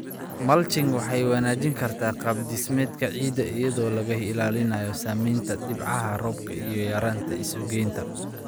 Mulching waxay wanaajin kartaa qaab dhismeedka ciidda iyadoo laga ilaalinayo saameynta dhibcaha roobka iyo yaraynta isugeynta.